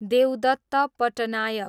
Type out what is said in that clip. Devdutt Patnaik